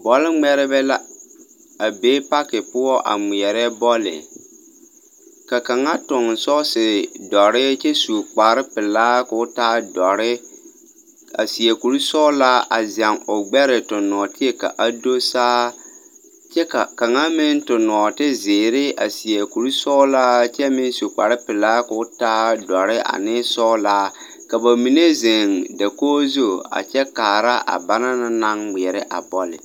Bɔl-ŋmɛrebɛ la, a be pake poɔ a ŋmeɛrɛ bɔle. Ka kaŋa toŋ sɔɔsedɔre kyɛ su kparepelaa ko taa dɔre, a seɛ kur-sɔɔlaa a zɛŋ o gbɛeɛ toŋ nɔɔteɛ ka a do saa kyɛ ka kaŋa meŋ toŋ nɔɔtezeere a seɛ kur-sɔɔlaa kyɛ meŋ su kparepelaa koo taa dɔre ane sɔɔlaa ka ba mine zeŋ dakog zu a kyɛ kaara a bana na naŋ ŋmeɛrɛ a bɔlle.